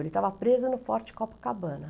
Ele estava preso no Forte Copacabana.